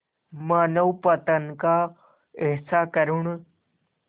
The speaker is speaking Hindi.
मानवपतन का ऐसा करुण